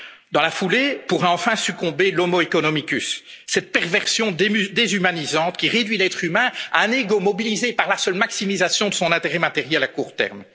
à y répondre. Dans la foulée, pourrait enfin succomber l' homo economicus cette perversion déshumanisante qui réduit l'être humain à un ego mobilisé par la seule maximisation de son intérêt matériel